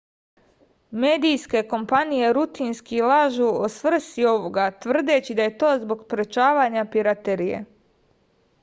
medijske kompanije rutinski lažu o svrsi ovoga tvrdeći da je to zbog sprečavanja piraterije